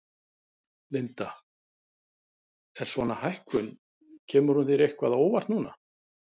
Linda: Er svona hækkun, kemur hún þér eitthvað á óvart núna?